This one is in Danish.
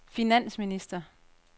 finansminister